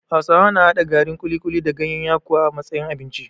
Hausawa na haɗa garin kuli-kuli da gayen yakuwa a matsayin abinci